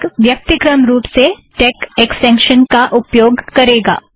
LaTeX व्यक्तिक्रम रुप से टेक ऐक्स्टेंशन का उपयोग करेगा